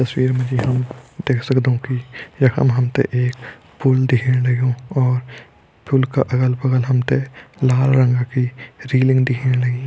तस्वीर मा जी हम देख सगदौं कि यखम हमतें एक पुल दिखेण लग्युं और पुल का अगल-बग़ल हमतें लाल रंगा की रीलिंग दिखेण लगीं।